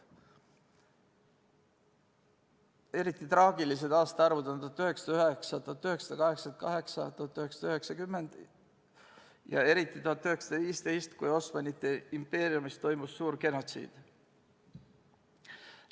Eriti traagilised aastaarvud on 1909, 1988 ja 1990 ja eriti 1915, kui Osmanite impeeriumis toimus suur genotsiid.